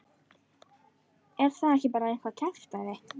Er það ekki bara eitthvað kjaftæði?